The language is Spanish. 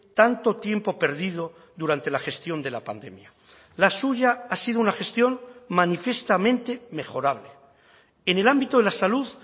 tanto tiempo perdido durante la gestión de la pandemia la suya ha sido una gestión manifiestamente mejorable en el ámbito de la salud